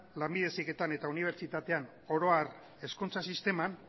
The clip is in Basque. lanbide heziketan eta unibertsitatean oro har hezkuntza sisteman